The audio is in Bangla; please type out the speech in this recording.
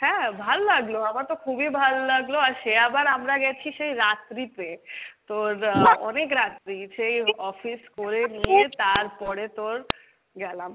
হ্যাঁ ভাল লাগলো, আমার তো খুবই ভাল লাগলো আর সে আবার আমরা গেছি সে রাত্রিতে, তো অনেক রাত্রি সেই office করে নিয়ে তারপরে তোর গেলাম